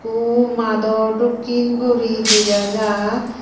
au mado dokken guri dagajar.